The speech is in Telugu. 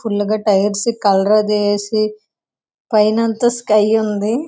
ఫుల్లుగా టైర్స్ కి కలర్ అది వేసి పైనంత స్కై ఉంది.